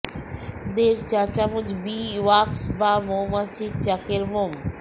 দেড় চা চামচ বি ওয়্যাক্স বা মৌমাছির চাকের মোম